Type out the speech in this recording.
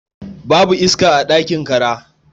Babu ac a ɗakin kara.